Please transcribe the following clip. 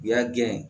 U y'a gɛn